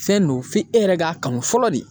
Fɛn don f'e yɛrɛ k'a kanu fɔlɔ de.